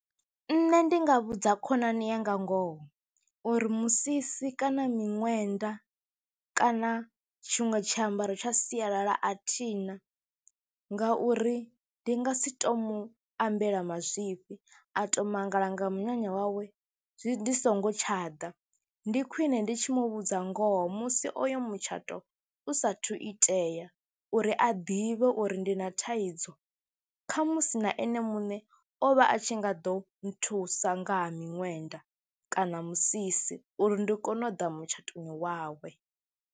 Nṋe ndi nga vhudza khonani yanga ngoho uri musisi kana miṅwenda kana tshiṅwe tshiambaro tsha sialala a thi na ngauri ndi nga si tou mu ambela mazwifhi, a tou mangala nga minyanya wawe zwi ndi songo tsha ḓa. Ndi khwine ndi tshi mu vhudze ngoho musi oyo mutshato u saathu itea uri a ḓivhe uri ndi na thaidzo kha musi na ene muṋe o vha a tshi nga ḓo nthusa nga ha miṋwenda kana musisi uri ndi kone u ḓa mutshatoni wawe.